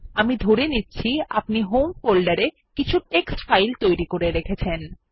আমি ধরে নিচ্ছি আপনি হোম ফোল্ডারে কিছু টেক্সট ফাইল তৈরী করে রেখেছেন